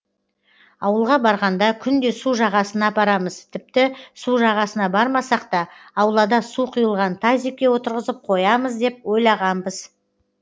ауылға барғанда күнде су жағасына апарамыз тіпті су жағасына бармасақ та аулада су құйылған тазикке отырғызып қоямыз деп ойлағанбыз